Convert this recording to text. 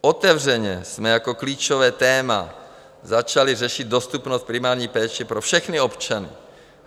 Otevřeně jsme jako klíčové téma začali řešit dostupnost primární péče pro všechny občany.